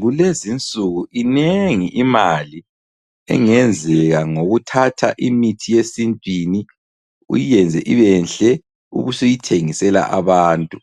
Kulezinsuku inengi imali engenzeka ngokuthatha imithi yesintwini, uyenze ibenhle ubusuyithengisela abantu.